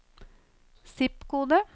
zip-kode